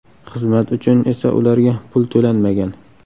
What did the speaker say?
Xizmat uchun esa ularga pul to‘lanmagan.